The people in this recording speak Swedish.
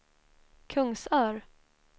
Kungsör